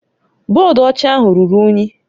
Bọdụ ọcha ahụ ruru unyi